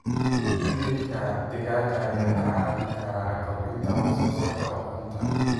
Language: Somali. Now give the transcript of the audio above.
Hilibka digaaga ayaa kaa caawin kara kordhinta wax soo saarka ukunta.